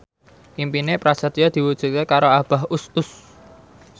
impine Prasetyo diwujudke karo Abah Us Us